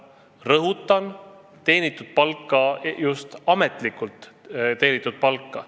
Rõhutan: teenitud palka, just ametlikult teenitud palka.